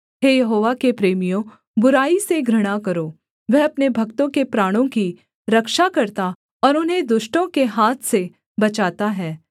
हे यहोवा के प्रेमियों बुराई से घृणा करो वह अपने भक्तों के प्राणों की रक्षा करता और उन्हें दुष्टों के हाथ से बचाता है